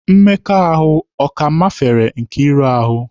Mmekọahụ ọ ka mafere Nkeiru ahụ?